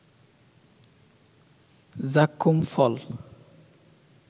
যাক্কুম ফল